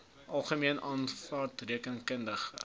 algemene aanvaarde rekeningkundige